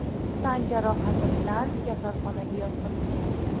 tan jarohati bilan kasalxonaga yotqizilgan.